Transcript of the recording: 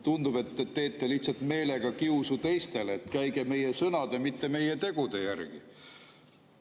Tundub, et te teete lihtsalt meelega kiusu teistele, et käige meie sõnade, mitte meie tegude järgi.